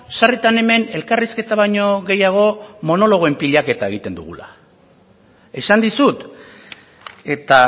sarritan hemen elkarrizketa baino gehiago monologoen pilaketa egiten dugula esan dizut eta